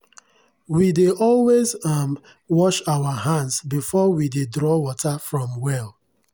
we dey always um wash our hands before we dey draw water from well.